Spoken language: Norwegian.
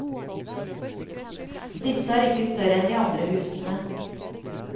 Disse er ikke større en de andre husene.